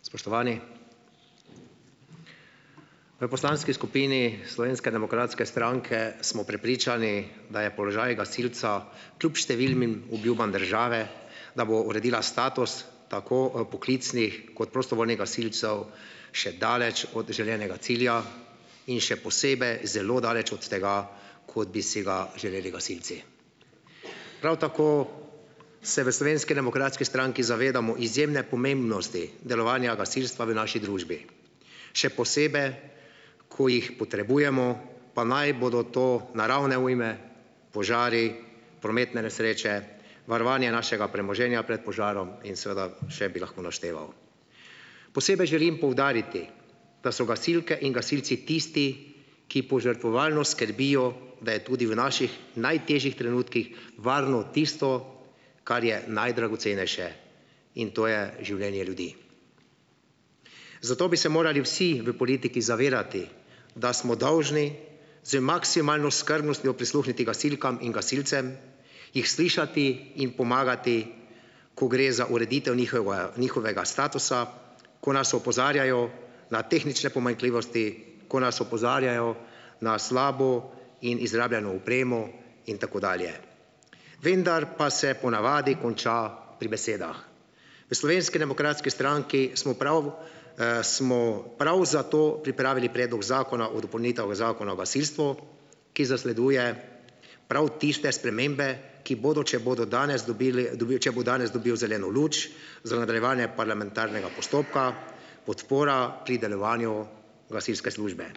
Spoštovani! V poslanski skupini Slovenske demokratske stranke smo prepričani, da je položaj gasilca kljub številnim obljubam države, da bo uredila status tako, poklicnih kot prostovoljnih gasilcev, še daleč od želenega cilja in še zelo daleč od tega, kot bi si ga želeli gasilci. Prav tako se v Slovenski demokratski stranki zavedamo izjemne pomembnosti delovanja gasilstva v naši družbi, še ko jih potrebujemo, pa naj bodo to naravne ujme, požari, prometne nesreče, varovanje našega premoženja pred požarom in seveda še bi lahko našteval. Posebej želim poudariti, da so gasilke in gasilci tisti, ki požrtvovalno skrbijo, da je tudi v naših najtežjih trenutkih varno tisto, kar je najdragocenejše, in to je življenje ljudi. Zato bi se morali vsi v politiki zavedati, da smo dolžni z maksimalno skrbnostjo prisluhniti gasilkam in gasilcem, jih slišati, jim pomagati, ko gre za ureditev njihovega, njihovega statusa, ko nas opozarjajo na tehnične pomanjkljivosti, ko nas opozarjajo na slabo in izrabljeno opremo, in tako dalje. Vendar pa se po navadi konča pri besedah. V Slovenski demokratski stranki smo prav, smo prav zato pripravili Predlog zakona o dopolnitvah Zakona o gasilstvu, ki zasleduje prav tiste spremembe, ki bodo, če bodo danes dobili, dobil, če bo danes dobil zeleno luč, za nadaljevanje parlamentarnega postopka, podpora pri delovanju gasilske službe.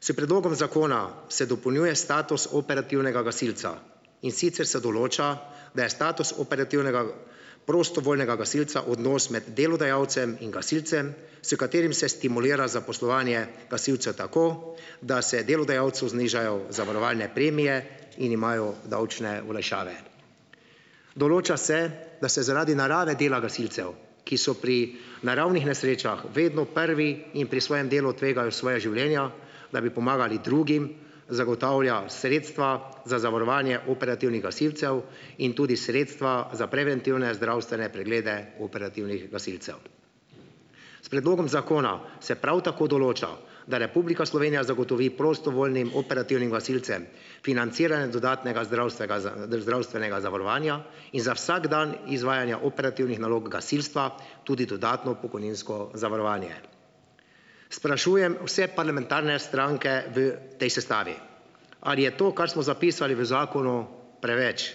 S predlogom zakona se dopolnjuje status operativnega gasilca, in sicer se določa, da je status operativnega prostovoljnega gasilca odnos med delodajalcem in gasilcem, s katerim se stimulira zaposlovanje gasilcev tako, da se delodajalcu znižajo zavarovalne premije in imajo davčne olajšave. Določa se, da se zaradi narave dela gasilcev, ki so pri naravnih nesrečah vedno prvi in pri svojem delu tvegajo svoja življenja, da bi pomagali drugim, zagotavlja sredstva za zavarovanje operativnih gasilcev in tudi sredstva za preventivne zdravstvene preglede operativnih gasilcev. S predlogom zakona se prav tako določa, da Republika Slovenija zagotovi prostovoljnim operativnim gasilcem financiranje dodatnega zdravstvega zdravstvenega zavarovanja in za vsak dan izvajanja operativnih nalog gasilstva tudi dodatno pokojninsko zavarovanje. Sprašujem vse parlamentarne stranke v tej sestavi, ali je to, kar smo zapisali v zakonu, preveč.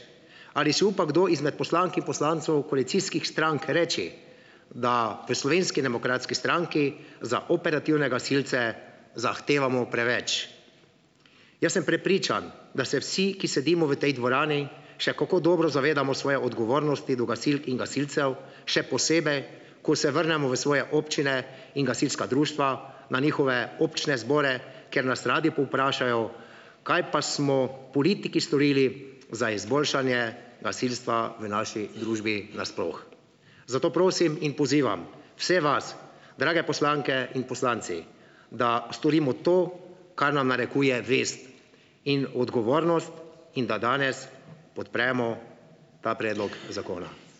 Ali si upa kdo izmed poslank in poslancev koalicijskih strank reči, da v Slovenski demokratski stranki za operativne gasilce zahtevamo preveč. Jaz sem prepričan, da se vsi, ki sedimo v tej dvorani, še kako dobro zavedamo svoje odgovornosti do gasilk in gasilcev, še posebej, ko se vrnemo v svoje občine in gasilska društva, na njihove občne zbore, kjer nas radi povprašajo, kaj pa smo politiki storili za izboljšanje gasilstva v naši družbi nasploh. Zato prosim in pozivam vse vas, drage poslanke in poslanci, da storimo to, kar nam narekuje vest in odgovornost, in da danes podpremo ta predlog zakona.